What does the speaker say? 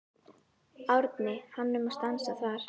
Árni hann um að stansa þar.